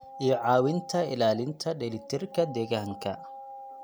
iyo caawinta ilaalinta dheelitirka deegaanka.